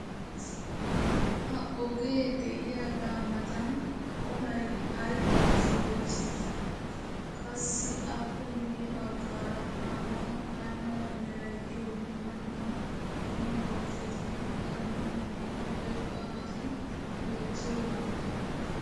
ha ogee diyaaga matan olay ay ootii? qassi appe guye bagaara a matan ay mala meray diyo dumma dumma qommo bonccotinne hara dumma dumma irxxabati beetiyoonaa?